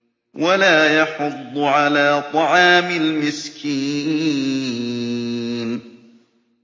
وَلَا يَحُضُّ عَلَىٰ طَعَامِ الْمِسْكِينِ